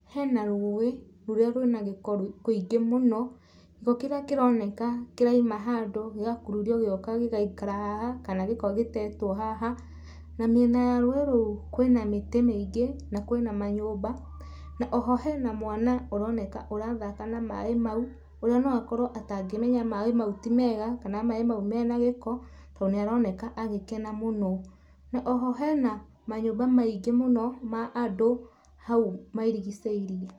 Hena rũĩ rũrĩa rũrĩ na gĩko kĩingĩ mũno, gĩko kĩrĩa kĩroneka kĩrauma handũ gĩgakururio gĩgoka gĩgaikara haha, kana gĩko gĩtetwo haha. Na mĩena ya rũĩ rũu kwĩna mĩtĩ mĩingĩ na kwĩna manyũmba, na oho hena na mwana ũroneka ũrathaka na maaĩ mau, ũrĩa no akorwo atangĩmenya maaĩ mau ti mega kana maaĩ mau mena gĩko, tondũ nĩaroneka agĩkena mũno. Na oho hena manyũmba maingĩ mũno ma andũ hau marigicĩirie.